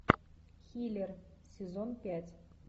хилер сезон пять